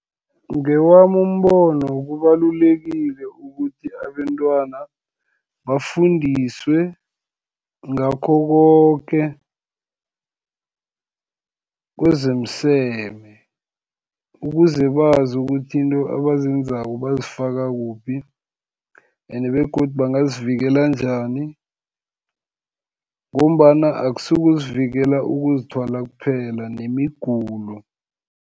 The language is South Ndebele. Ngewami umbono, kubalulekile ukuthi abentwana bafundiswe, ngakho koke kwezemiseme, ukuze bazi ukuthi izinto abazenzako bazifaka kuphi, and begodu bangazivikela njani, ngombana akusikuzivikela ukuzithwala kuphela nemigulo.